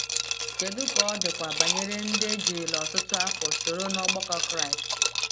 Kedu ka ọ dịkwa banyere ndị ejirila ọtụtụ afọ soro n’ọgbakọ Kraịst?